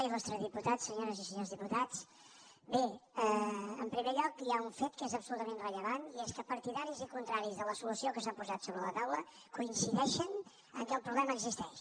il·lustre diputat senyores i senyors diputats bé en primer lloc hi ha un fet que és absolutament rellevant i és que partidaris i contraris de la solució que s’ha posat sobre la taula coincideixen que el problema existeix